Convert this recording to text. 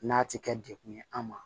N'a ti kɛ dekun ye an ma